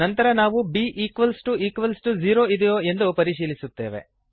ನಂತರ ನಾವು b 0 ಇದೆಯೋ ಎಂದು ಪರಿಶೀಲಿಸುತ್ತೇವೆ